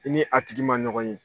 I ni a tigi ma ɲɔgɔn ye.